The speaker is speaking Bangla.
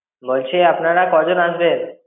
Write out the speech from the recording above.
বলছি আপনারা কজন আসবেন?